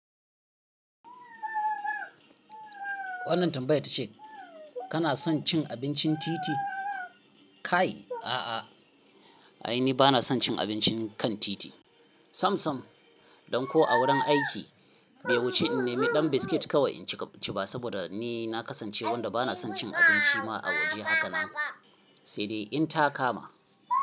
Wannan tambayar ta ce kana son cin abincin titi? Kai? A'a, ai ni bana son cin abincin kan titi. Sam sam, don ko a wurin aiki, bai wuce in nemi dan biskit kawai in ci ba saboda ni na kasance wanda bana son cin abinci ma a waje haka na, sai dai in ta kama.